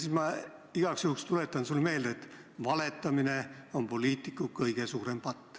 Ning ma igaks juhuks tuletan sulle meelde, et valetamine on poliitiku kõige suurem patt.